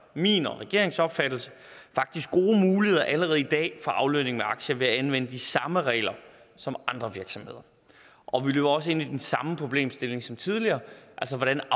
min og regeringens opfattelse faktisk gode muligheder allerede i dag for aflønning med aktier ved at anvende de samme regler som andre virksomheder og vi løber også ind i den samme problemstilling som tidligere altså hvordan